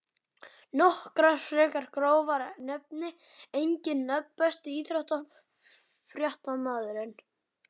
Nokkrar frekar grófar nefni engin nöfn Besti íþróttafréttamaðurinn?